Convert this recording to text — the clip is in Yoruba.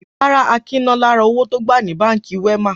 Rárá, Akin ná lára owó tó gbà ní Báńkì Wema.